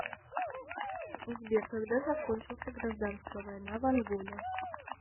сбер когда закончился гражданская война в анголе